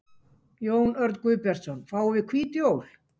Jón Örn Guðbjartsson: Fáum við hvít jól?